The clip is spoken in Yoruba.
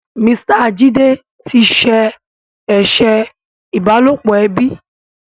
Mr Jide tí ṣe eṣe ìbálòpọ̀ ẹbí.